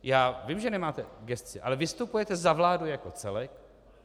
Já vím, že nemáte v gesci, ale vystupujete za vládu jako celek.